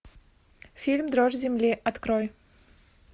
фильм дрожь земли открой